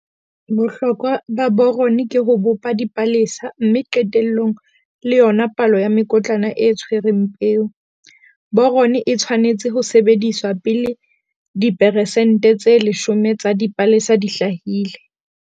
Bohlokwahlokwa ba boron ke ho bopa dipalesa, mme qetellong le yona palo ya mekotlana e tshwereng peo. Boron e tshwanetse ho sebediswa pele diperesente tse 10 tsa dipalesa di hlahile.